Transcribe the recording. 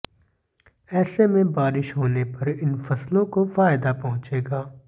ऐसे में बारिश होने पर इन फसलों को फायदा पहुंचेगा